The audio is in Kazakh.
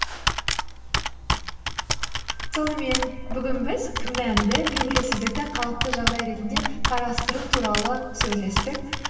сонымен бүгін біз күмәнді белгісіздікті қалыпты жағдай ретінде қарастыру туралы сөйлестік